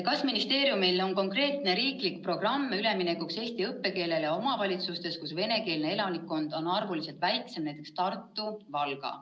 "Kas ministeeriumil on konkreetne riiklik programm üleminekuks eesti õppekeelele omavalitsustes, kus venekeelne elanikkond on arvuliselt väiksem ?